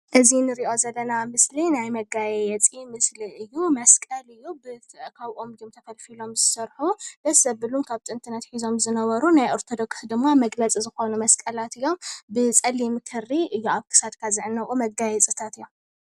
እዚ እንሪኦ ዘለና ምስሊ ናይ መጋየፂ ምስሊ እዩ። መስቀል እዩ። ካብ ኦም ተፀሪቦም እዮም ዝስርሑ ደስ ዘብሉ ካብ ጥንቲ ኣትሒዞም ዝነበሩ እዮም። ብፀሊም ክሪ እዮም ዝስርሑ